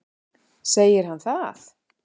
Segir hann það?